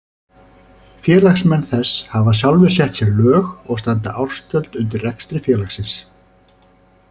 Félagsmenn þess hafa sjálfir sett sér lög og standa ársgjöld undir rekstri félagsins.